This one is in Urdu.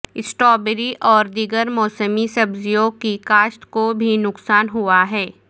سٹابری اور دیگر موسمی سبزیوں کی کاشت کو بھی نقصان ھوا ھے